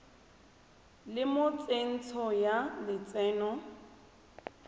le mo tsentsho ya lotseno